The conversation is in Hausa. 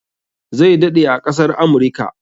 Zai daɗe a ƙasar Amurika.